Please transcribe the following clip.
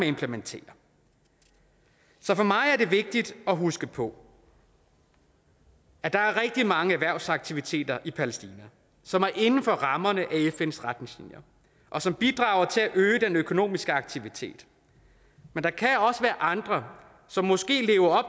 implementere så for mig er det vigtigt at huske på at der er rigtig mange erhvervsaktiviteter i palæstina som er inden for rammerne af fns retningslinjer og som bidrager til at øge den økonomiske aktivitet men der kan også være andre som måske lever